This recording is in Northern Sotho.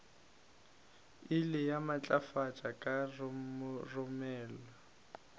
ile ya matlafala ka roromela